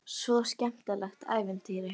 Svo skemmtilegt ævintýri.